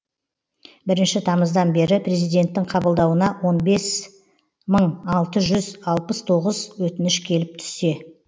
бірінші тамыздан бері президенттің қабылдауына он бес мың алты жүз алпыс тоғыз өтініш келіп түссе